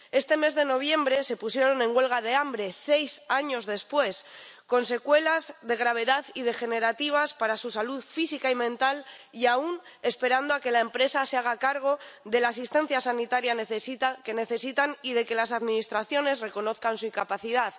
Este mes de noviembre se pusieron en huelga de hambre, seis años después, con secuelas de gravedad y degenerativas para su salud física y mental y aún esperando a que la empresa se haga cargo de la asistencia sanitaria que necesitan y que las administraciones reconozcan su incapacidad.